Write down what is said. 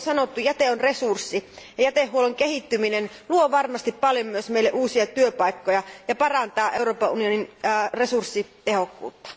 Kuten on sanottu, jäte on resurssi, ja jätehuollon kehittyminen luo varmasti paljon myös uusia työpaikkoja ja parantaa Euroopan unionin resurssitehokkuutta.